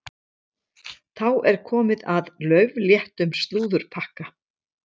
Þá er komið að laufléttum slúðurpakka.